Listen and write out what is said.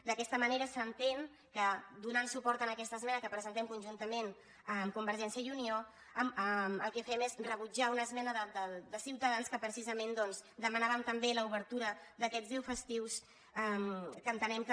d’aquesta manera s’entén que donant suport a aquesta esmena que presentem conjuntament amb convergència i unió el que fem és rebutjar una esmena de ciutadans que precisament demanaven també l’obertura d’aquests deu festius que entenem que